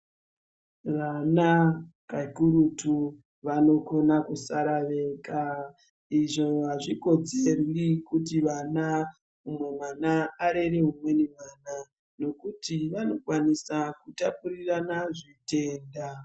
Vana ,kakurutu vanogona kusara vega. Izvo hazvikodzeri kuti vana , umwe mwana arere umwe mwana nokuti vanokona kutapurirana zvitenda.